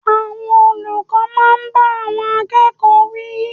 Àwọn olùkọ́ máa ń bá àwọn akẹ́kọ̀ọ́ wí.